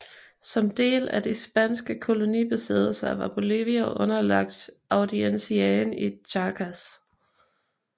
Som en del af de spanske kolonibesiddelser var Bolivia underlagt audienciaen i Charcas